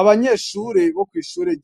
Abanyeshure